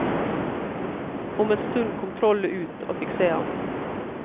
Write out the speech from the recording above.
Om en stund kom trollet ut og fikk se ham.